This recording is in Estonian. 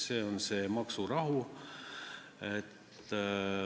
See on see maksurahu.